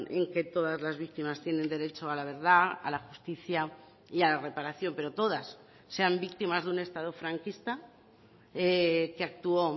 en que todas las víctimas tienen derecho a la verdad a la justicia y a la reparación pero todas sean víctimas de un estado franquista que actuó